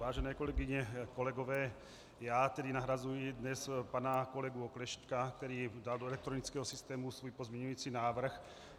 Vážené kolegyně, kolegové, já tedy nahrazuji dnes pana kolegu Oklešťka, který dal do elektronického systému svůj pozměňující návrh.